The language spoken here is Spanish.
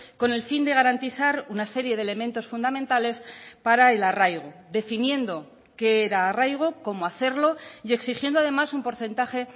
con el fin de garantizar una serie de elementos fundamentales para el arraigo definiendo qué era arraigo cómo hacerlo y exigiendo además un porcentaje